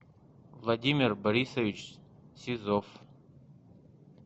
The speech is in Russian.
владимир борисович сизов